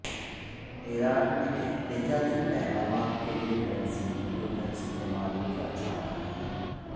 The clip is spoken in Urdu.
ایران میں احتجاجی پیغامات کے لیے کرنسی نوٹوں کا استعمال کیا جا رہا ہے